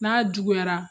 N'a juguyara